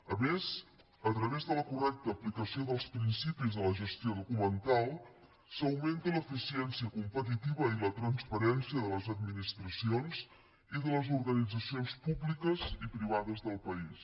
a més a través de la correcta aplicació dels principis de la gestió documental s’augmenta l’eficiència competitiva i la transparència de les administracions i de les organitzacions públiques i privades del país